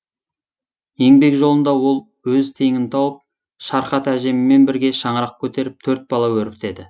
еңбек жолында ол өз теңін тауып шархат әжеммен бірге шаңырақ көтеріп төрт бала өрбітеді